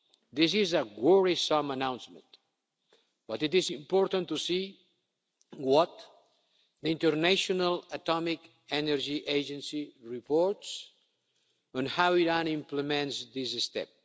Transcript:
deal. This is a worrisome announcement, but it is important to see what the International Atomic Energy Agency reports on how Iran implements this